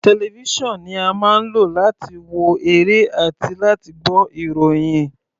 Television ni a máa ń lò láti wo eré àti láti gbọ́ ìròhìn.